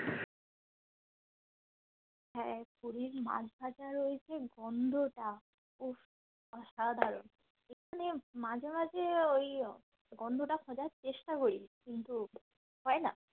হ্যাঁ পুরীর মাছ ভাজার ওই যে গন্ধটা উফ অসাধারণ এখানে মাঝে মাঝে ওই গন্ধটা খোঁজার চেষ্টা করি কিন্তু হয় না